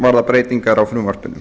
varða breytingar á frumvarpinu